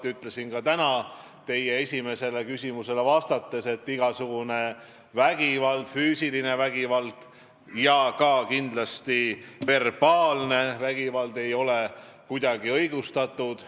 Ma ütlesin ka täna teie esimesele küsimusele vastates, et mitte mingisugune vägivald, füüsiline vägivald ja kindlasti ka verbaalne vägivald ei ole kuidagi õigustatud.